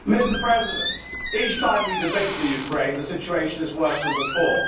Mr President, each time we debate Ukraine the situation is worse than before.